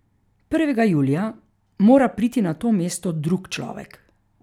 Prvega julija mora priti na to mesto drug človek.